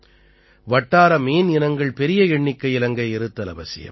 வட்டார மீன் இனங்கள் பெரிய எண்ணிக்கையில் அங்கே இருத்தல் அவசியம்